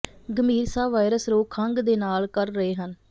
ਗੰਭੀਰ ਸਾਹ ਵਾਇਰਸ ਰੋਗ ਖੰਘ ਦੇ ਨਾਲ ਕਰ ਰਹੇ ਹਨ